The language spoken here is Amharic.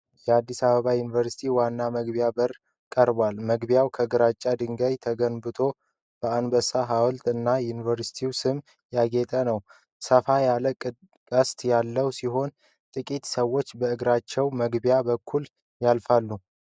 የአዲስ አበባ ዩኒቨርሲቲ ዋና መግቢያ በር ቀርቧል። መግቢያው ከግራጫ ድንጋይ ተገንብቶ፣ በአንበሳ ሐውልቶች እና በዩኒቨርሲቲው ስም ያጌጠ ነው። ሰፋ ያለ ቅስት ያለው ሲሆን፣ ጥቂት ሰዎች በእግረኛ መግቢያ በኩል ያልፋሉፈ።